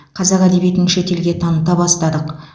қазақ әдебиетін шет елге таныта бастадық